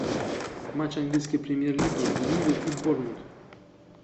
матч английской премьер лиги ливер и борнмут